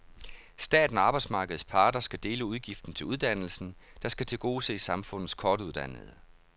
Staten og arbejdsmarkedets parter skal dele udgiften til uddannelsen, der skal tilgodese samfundets kortuddannede.